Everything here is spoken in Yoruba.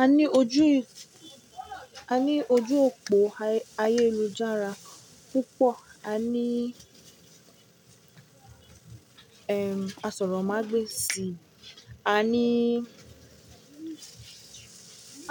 A ní ojú, a ní ojú òpó ayélujára púpọ̀, a ní, aṣọrọ̀mágbèsì, a ní,